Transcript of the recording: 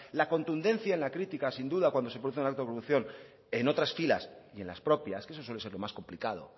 la contundencia en la crítica sin duda cuando se produce el evolución en otras filas y en las propias que eso suele ser más lo complicado